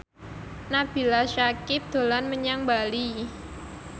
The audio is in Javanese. Nabila Syakieb dolan menyang Bali